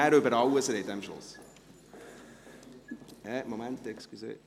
Dann können Sie am Schluss über alles sprechen.